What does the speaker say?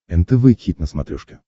нтв хит на смотрешке